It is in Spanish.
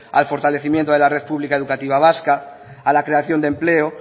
al fortalecimiento de la red pública educativa vasca a la creación de empleo